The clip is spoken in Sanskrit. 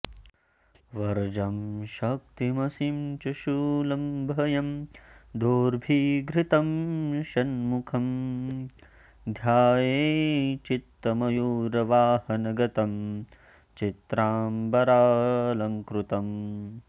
वज्रं शक्तिमसिं च शूलमभयं दोर्भिधृतं षण्मुखं ध्यायेच्चित्तमयूरवाहनगतं चित्राम्बरालङ्कृतम्